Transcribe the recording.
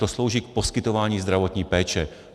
To slouží k poskytování zdravotní péče.